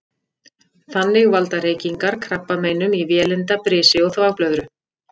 Þannig valda reykingar krabbameinum í vélinda, brisi og þvagblöðru.